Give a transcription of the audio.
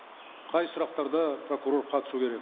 қай сұрақтарда прокурор қатысу керек